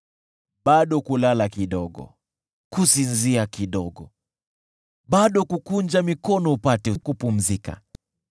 Bado kulala kidogo, kusinzia kidogo, bado kukunja mikono kidogo upate kupumzika: